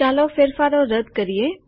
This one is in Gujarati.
ચાલો ફેરફારો રદ કરીએ